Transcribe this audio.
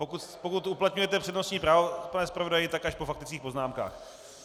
Pokud uplatňujete přednostní právo, pane zpravodaji, tak až po faktických poznámkách.